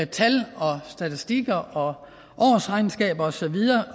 tal og statistikker og årsregnskaber og så videre